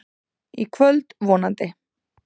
Í kvöld, vonandi.